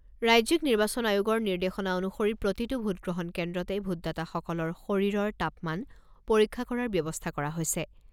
ৰাজ্যিক নিৰ্বাচন আয়োগৰ নিৰ্দেশনা অনুসৰি প্ৰতিটো ভোটগ্ৰহণ কেন্দ্ৰতে ভোটদাতাসকলৰ শৰীৰৰ তাপমান পৰীক্ষা কৰাৰ ব্যৱস্থা কৰা হৈছে।